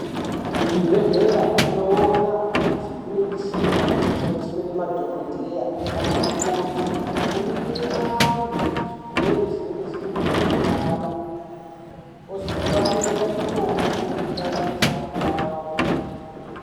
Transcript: Kuzvibhedhlera tinoona kuti kune michina inoshandiswa namadhokodheya nanamukoti kuringira antu zvirrwere zvinenge zviri munyama yavo ozovanyorera mitombo inoenderana nezvaanenge aona.